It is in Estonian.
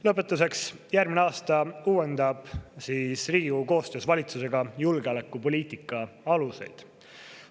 Lõpetuseks, järgmine aasta uuendab Riigikogu koostöös valitsusega julgeolekupoliitika aluseid.